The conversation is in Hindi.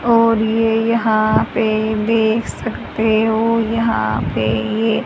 और ये यहां पे देख सकते हो यहां पे ये--